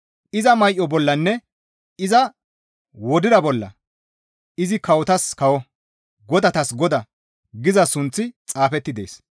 Iza may7o bollanne iza wodira bolla, «Izi kawotas kawo, godatas Godaa» giza sunththi xaafetti dees.